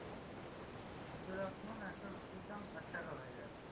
ওদের এখন একটা রুটির দাম ষাট টাকা হয়ে গেছে।